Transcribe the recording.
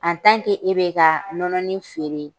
e bɛ ka nɔnɔnin feere